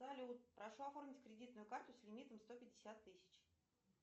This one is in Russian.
салют прошу оформить кредитную карту с лимитом сто пятьдесят тысяч